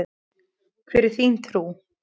Hvar er þín trú?